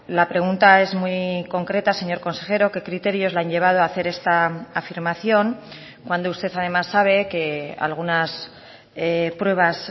la pregunta es muy concreta señor consejero qué criterios le han llevado a hacer esta afirmación cuando usted además sabe que algunas pruebas